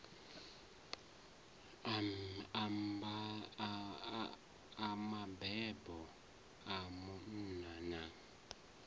a mabebo a munna na